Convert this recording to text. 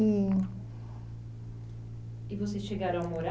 E e vocês chegaram a morar